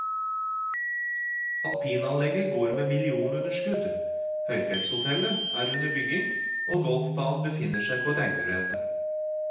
Alpinanlegget går med millionunderskudd, høyfjellshotellet er under bygging og golfbanen befinner seg på tegnebrettet.